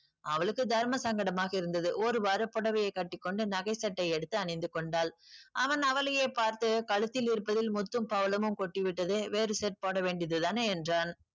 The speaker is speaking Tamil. அவளுக்கு தர்ம சங்கடமாக இருந்தது. ஒருவாறு புடவையை கட்டி கொண்டு நகை set யை எடுத்து அணிந்து கொண்டாள். அவன் அவளையே பார்த்து கழுத்தில் இருப்பதில் முத்தும் பவளமும் கொட்டி விட்டது வேறு set போட வேண்டியது தானே என்றான்.